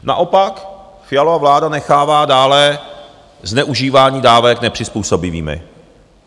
Naopak, Fialova vláda nechává dále zneužívání dávek nepřizpůsobivými.